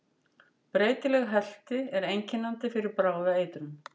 Breytileg helti er einkennandi fyrir bráða eitrun.